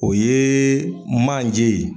O yee manje ye